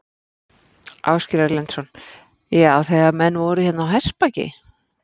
Ásgeir Erlendsson: Já, þegar menn voru hérna á hestbaki?